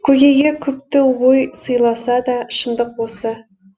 көкейге күпті ой сыйласа да шындық осы